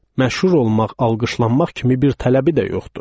Məşhur olmaq, alqışlanmaq kimi bir tələbi də yoxdur.